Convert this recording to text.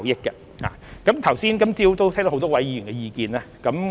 今早都聽到很多位議員的意見。